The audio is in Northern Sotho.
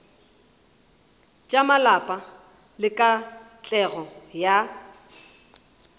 tša malapa le katlego ya